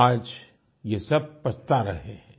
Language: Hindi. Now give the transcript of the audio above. आज ये सब पछता रहे हैं